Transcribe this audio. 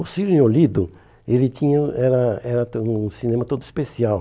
O Cine Olido ele tinha era era também um cinema todo especial.